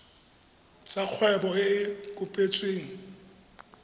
tsa kgwebo e e kopetsweng